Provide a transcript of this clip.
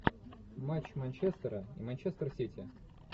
матч манчестера и манчестер сити